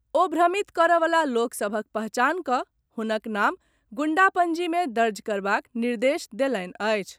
ओ भ्रमित करऽ वला लोक सभक पहचान कऽ हुनक नाम गुंडा पंजी मे दर्ज करबाक निर्देश देलनि अछि।